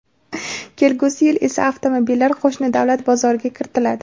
Kelgusi yil esa avtomobillar qo‘shni davlat bozoriga kiritiladi.